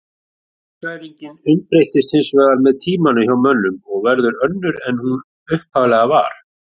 Geðshræringin umbreytist hins vegar með tímanum hjá mönnum og verður önnur en hún upphaflega var.